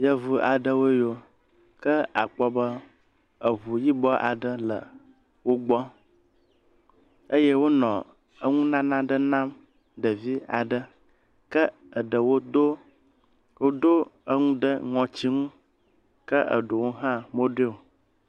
…v aɖewoe yio ke akpɔ be eŋu yibɔ aɖe le wogbɔ eye wonɔ eŋunana aɖe nam ɖevi aɖe, ke eɖewo do woɖo eŋu ɖe ŋɔtsi ŋu ke eɖewo hã moɖoeo.